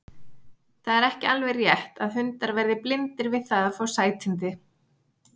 Það er ekki alveg rétt að hundar verði blindir við það að fá sætindi.